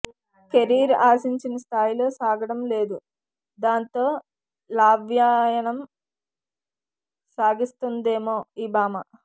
career ఆశించిన స్థాయిలో సాగడం లేదు దాంతో లవ్వాయణం సాగిస్తోందేమో ఈ భామ